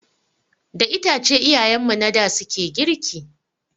Da itace iyayen mu na da suke girki.